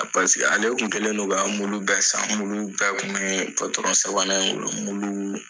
Paseke ale kun kɛlen don ka muluw bɛɛ san muluw bɛɛ kun bɛɛ patɔrɔn sabanan in bolo muluw